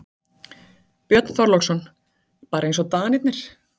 Björn Þorláksson: Bara eins og Danirnir?